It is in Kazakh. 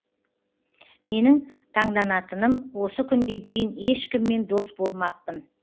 менің таңданатыным осы күнге дейін ешкіммен дос болмаппын